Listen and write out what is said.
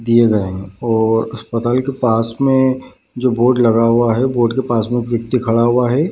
दिए गए हैं और अस्पताल के पास में जो बोर्ड लगा हुआ है बोर्ड के पास में एक व्यक्ति खड़ा हुआ है।